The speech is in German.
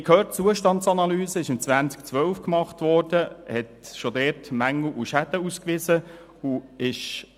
Wir haben gehört, dass die Zustandsanalyse 2012 gemacht wurde und schon damals Mängel und Schäden ausgewiesen hat.